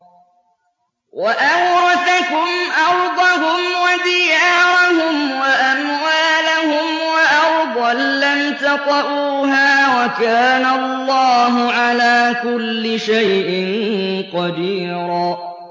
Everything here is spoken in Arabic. وَأَوْرَثَكُمْ أَرْضَهُمْ وَدِيَارَهُمْ وَأَمْوَالَهُمْ وَأَرْضًا لَّمْ تَطَئُوهَا ۚ وَكَانَ اللَّهُ عَلَىٰ كُلِّ شَيْءٍ قَدِيرًا